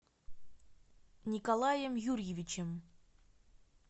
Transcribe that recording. николаем юрьевичем